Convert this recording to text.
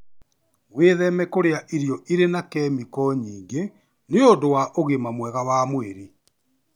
Wĩtheme kũrĩa irio irĩ na kemiki nyingĩ nĩũndu wa ũgima mwega wa mwĩrĩ.